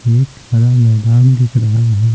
एक हरा मैदान दिख रहा है।